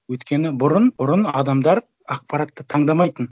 өйткені бұрын адамдар ақпаратты таңдамайтын